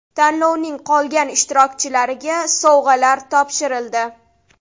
Tanlovning qolgan ishtirokchilariga sovg‘alar topshirildi.